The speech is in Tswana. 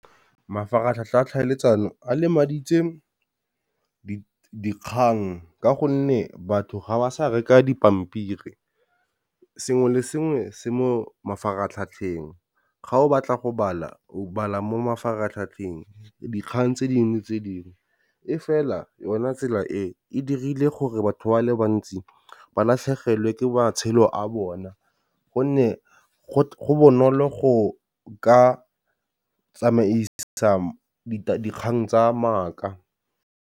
Mafaratlhatlha a tlhaeletsano a lemaditse dikgang ka gonne batho ga ba sa reka dipampiri. Sengwe le sengwe se mo mafaratlhatlheng ga o batla go bala, o bala mo mafaratlhatlheng dikgang tse dingwe tse dingwe, e fela yona tsela e dirile gore batho ba le bantsi ba latlhegelwe ke matshelo a bona gonne go bonolo go ka tsamaisa dikgang tsa maaka.